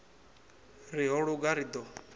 ri ho luga ri ḓo